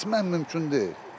Keçmək mümkün deyil.